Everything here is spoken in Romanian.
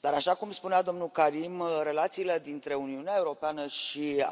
dar, așa cum spunea domnul Karim, relațiile dintre Uniunea Europeană și Azerbaidjan au evoluat de o manieră pozitivă.